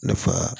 Nafa